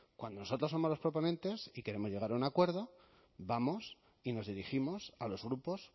cuando nosotros somos los proponentes y queremos llegar a un acuerdo vamos y nos dirigimos a los grupos